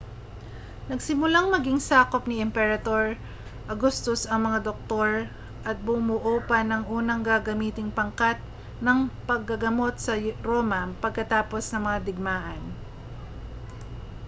nagsimulang maging sakop ni emperador augustus ang mga doktor at bumuo pa ng unang gagamiting pangkat ng paggagamot sa roma pagkatapos ng mga digmaan